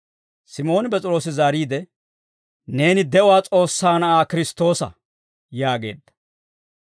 Simooni P'es'iroosi zaariide, «Neeni de'uwaa S'oossaa Na'aa Kiristtoosa» yaageedda.